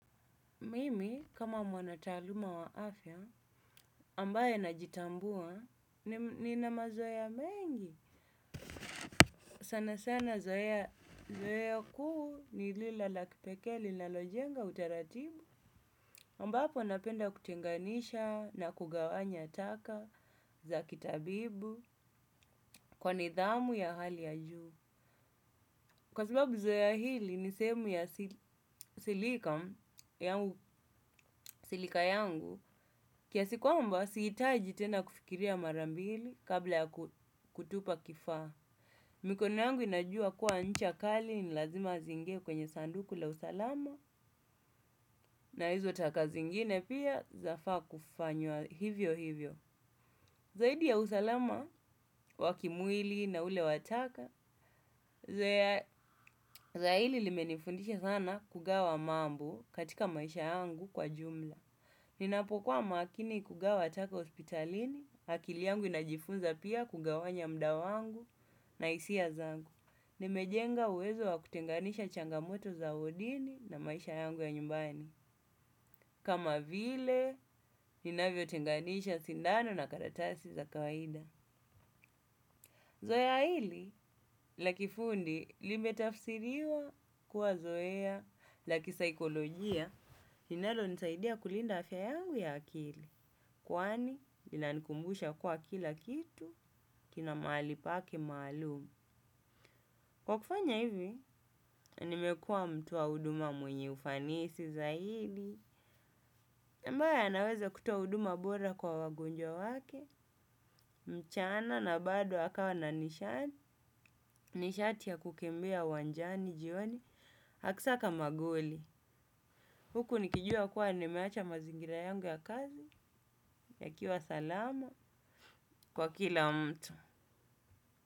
Mimi, kama mwanataaluma wa afya, ambaye najitambua, ni na mazoea mengi. Sana sana zoea kuu ni lile la kipekee linalojenga utaratibu. aMbapo napenda kutenganisha na kugawanya taka za kitabibu kwa nidhamu ya hali ya juu. Kwa sababu zoea hili ni sehemu ya silika yangu kiasi kwamba sihitaji tena kufikiria marambili kabla ya kutupa kifaa. Mikono yangu inajua kuwa nchakali ni lazima ziingie kwenye saduku la usalama na hizo taka zingine pia za faa kufanywa hivyo hivyo. Zaidi ya usalama, wakimwili na ule wataka, zaidi limenifundisha sana kugawa mambo katika maisha yangu kwa jumla. Ninapo kuwa makini kugawa taka hospitalini akili yangu inajifunza pia kugawanya muda wangu na hisia zangu. Nimejenga uwezo wa kutenganisha changamoto za wodini na maisha yangu ya nyumbani. Kama vile ninavyotenganisha sindano karatasi za kawaida zoea hili, la kifundi, limetafsiriwa kuwa zoea, lakisaikolojia, linalo nisaidia kulinda afya yangu ya akili. Kwani, ina nikumbusha kwa kila kitu, kina mahalipake maalum. Kwa kufanya hivi nimekuwa mtu wa huduma mwenye ufanisi zaidi na ambaye anaweza kutoa huduma bora kwa wagonjwa wake, mchana na bado akawa na nishati, nishati ya kukimbia uwanjani jioni, akisaka magoli. Huku nikijua kuwa nimeacha mazingira yangu ya kazi, ya kiwa salama kwa kila mtu.